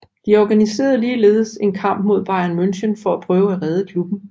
De organiserede ligeledes en kamp mod Bayern München for at prøve at redde klubben